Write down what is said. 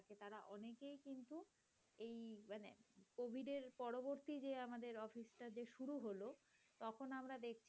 আমাদের অফিসটা যে শুরু হল। তখন আমরা দেখ